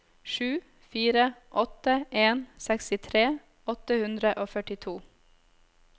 sju fire åtte en sekstitre åtte hundre og førtito